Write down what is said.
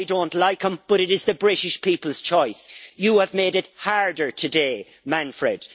I don't like him, but it is the British people's choice. You have made it harder today, Manfred!